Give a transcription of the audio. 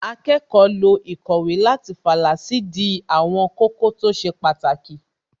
Akẹ́kọ̀ọ́ lo īkòwé láti fàlà sídìí àwọn kókó tó ṣe pàtàkì